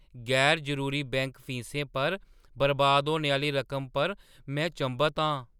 गैर-जरूरी bank फीसें पर बर्बाद होने आह्‌ली रकम पर में चंभत आं।